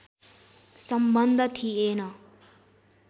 सम्बन्ध थिएन